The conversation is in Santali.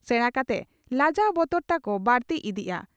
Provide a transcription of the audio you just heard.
ᱥᱮᱬᱟ ᱠᱟᱛᱮ ᱞᱟᱡᱟᱣ ᱵᱚᱛᱚᱨ ᱛᱟᱠᱚ ᱵᱟᱹᱲᱛᱤ ᱤᱫᱤᱜᱼᱟ ᱾